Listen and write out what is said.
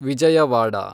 Vijayawada